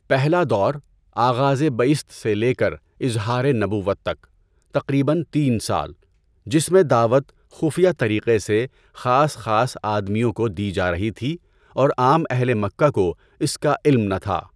پہلا دور، آغازِ بعثت سے لے کر اظہار نبوت تک، تقریباً تین سال، جس میں دعوت خفیہ طریقے سے خاص خاص آدمیوں کو دی جا رہی تھی اور عام اہلِ مکہ کو اس کا علم نہ تھا۔